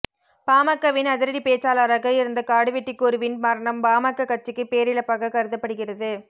பாமகவின் அதிரடி பேச்சாளராக இருந்த காடுவெட்டி குருவின் மரணம் பாமக கட்சிக்கு பேரிழப்பாக கருதப்படுகிறது